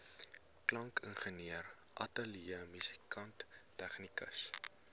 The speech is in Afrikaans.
klankingenieur ateljeemusikant tegnikus